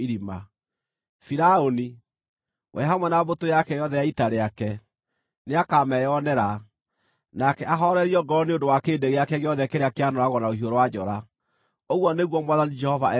“Firaũni, we hamwe na mbũtũ yake yothe ya ita rĩake, nĩakameyonera, nake ahoorerio ngoro nĩ ũndũ wa kĩrĩndĩ gĩake gĩothe kĩrĩa kĩanooragwo na rũhiũ rwa njora, ũguo nĩguo Mwathani Jehova ekuuga.